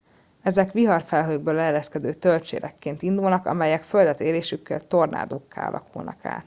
ezek viharfelhőkből leereszkedő tölcsérekként indulnak amelyek földet érésükkor tornádókká alakulnak át